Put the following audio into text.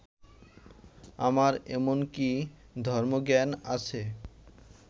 আমার এমন কি ধর্মজ্ঞান আছে